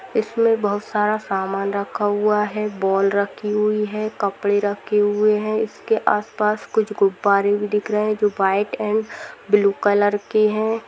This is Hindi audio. इसमे बहुत सारा सामान रखा हुआ है बॉल रखी हुई है कपड़े रखे हुए है इसके आस पास कुछ गुब्बारे भी दिख रहे है जो व्हाइट एंड ब्लू कलर के है।